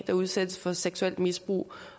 der udsættes for seksuelt misbrug